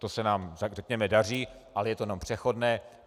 To se nám, řekněme, daří, ale je to jenom přechodné.